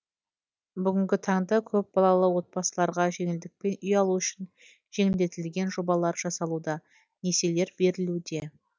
бүгінгі таңда көпбалалы отбасыларға жеңілдікпен үй алу үшін жеңілдетілген жобалар жасалуда несиелер берілуде